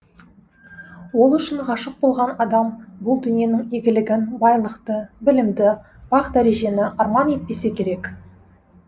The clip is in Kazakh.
ол үшін ғашық болған адам бұл дүниенің игілігін байлықты білімді бақ дәрежені арман етпесе керек